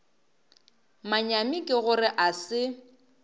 manyami ke gore a se